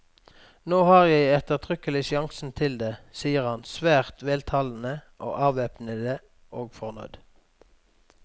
Nå har jeg ettertrykkelig sjansen til det, sier han, svært veltalende, avvæpnende og fornøyd.